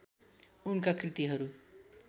उनका कृतिहरू